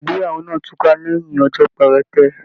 Ìgbéyàwó náà tuka lẹyìn ọjọ perete.